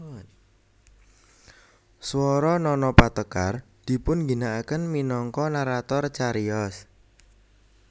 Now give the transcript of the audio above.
Swara Nana Patekar dipunginakaken minangka narator cariyos